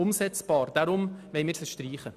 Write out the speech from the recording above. Deshalb wollen wir sie streichen.